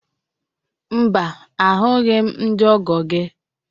Mba, ahụghị m ndị ọgọ gị